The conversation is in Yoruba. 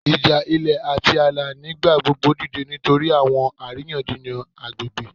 Ija ilẹ ati aala nigbagbogbo dide nitori awọn ariyanjiyan agbegbe